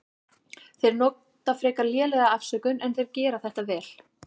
Þeir nota frekar lélega afsökun en þeir gera þetta vel.